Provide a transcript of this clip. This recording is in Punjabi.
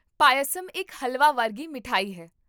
ਪਯਾਸਮ ਇੱਕ ਹਲਵਾ ਵਰਗੀ ਮਠਿਆਈ ਹੈ